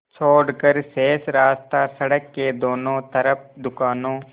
छोड़कर शेष रास्ता सड़क के दोनों तरफ़ दुकानों